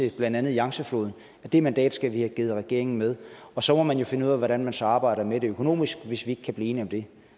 i blandt andet yangtzefloden det mandat skal vi give regeringen med og så må man jo finde ud af hvordan man så arbejder med det økonomisk hvis vi ikke kan blive enige om det